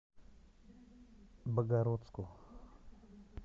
богородску